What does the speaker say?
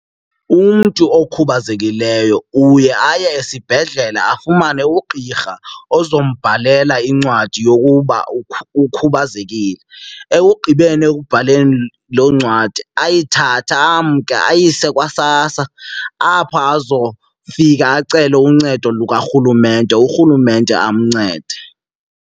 Umntu okhubazekileyo uye aye esibhedlele afumane ugqirha ozombhalela incwadi yokuba ukhubazekile. Ekugqibeni ekubhaleni loo ncwadi ayithathe amke ayise kwaSASSA apho azofika acele uncedo lukaRhulumente, uRhulumente amncede.